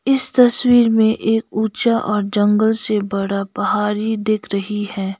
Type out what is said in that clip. इस तस्वीर में एक ऊंचा और जंगल से बड़ा पहारी दिख रही है।